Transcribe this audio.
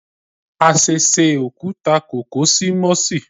A sẹsẹ okuta kó ko si Mossi